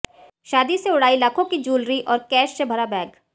शादी से उड़ाई लाखों की जूलरी और कैश से भरा बैग